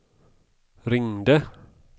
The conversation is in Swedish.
ringde